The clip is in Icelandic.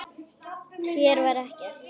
Hér var ekkert.